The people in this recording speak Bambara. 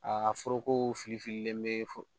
Aa foroko filifililen bɛ foro